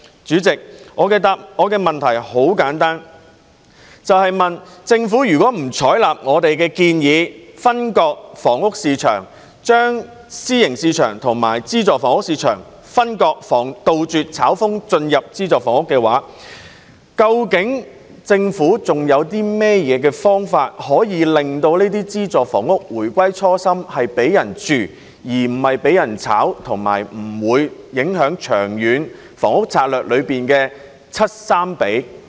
主席，我的問題很簡單，政府如果不採納我們的建議分割房屋市場，將私人住宅市場和資助房屋市場分割，杜絕"炒風"進入資助房屋市場，究竟政府還有何方法令資助房屋回歸"房屋是給人居住而不是用來炒賣"的初心，而且不會影響《長遠房屋策略》的 70:30 比例呢？